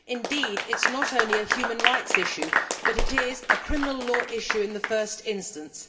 Indeed, it is not only a human rights issue, but is a criminal law issue in the first instance.